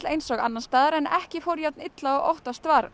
eins og annars staðar en ekki fór jafn illa og óttast var